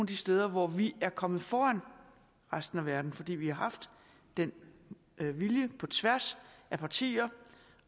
de steder hvor vi er kommet foran resten af verden fordi vi har haft den vilje på tværs af partier